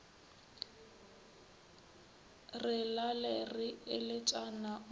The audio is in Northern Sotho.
re lale re eletšana o